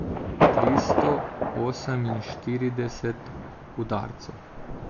Tristo oseminštirideset udarcev.